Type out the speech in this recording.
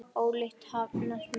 Ólíkt hafast menn að.